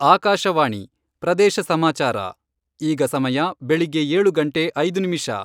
ಆಕಾಶವಾಣಿ ಪ್ರದೇಶ ಸಮಾಚಾರ, ಈಗ ಸಮಯ ಬೆಳಿಗ್ಗೆ ಏಳು ಗಂಟೆ ಐದು ನಿಮಿಷ.